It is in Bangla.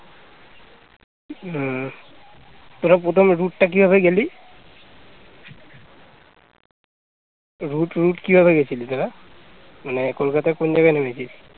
route route কিভাবে গিয়েছিলি তোরা মানে কলকাতার কোন জায়গায় নেমেছিস